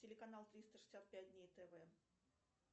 телеканал триста шестьдесят пять дней тв